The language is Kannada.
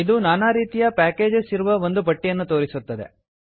ಇದು ನಾನಾ ರೀತಿಯ ಪ್ಯಾಕೇಜಸ್ ಇರುವ ಒಂದು ಪಟ್ಟಿಯನ್ನು ತೋರಿಸುತ್ತದೆ